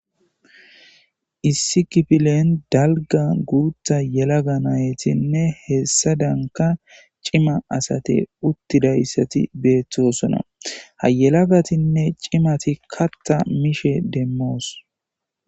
Issi kifillen dallga gutha yelag naytihesadanka Cima Asati utidaysati Betosona HA yelagatine Cima Katha mishe Demos